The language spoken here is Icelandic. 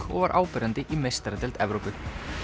og var áberandi í meistaradeild Evrópu